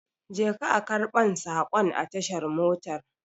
Je ka a karbon sakon a tashar motar